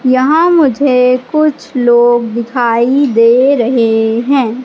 यहां मुझे कुछ लोग दिखाई दे रहे हैं।